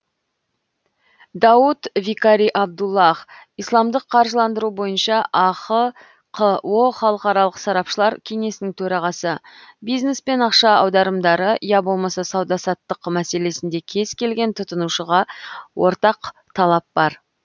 дауд викари абдуллах исламдық қаржыландыру бойынша ахқо халықаралық сарапшылар кеңесінің төрағасы бизнес пен ақша аударымдары я болмаса сауда саттық мәселесінде кез келген тұтынушыға ортқа талап бар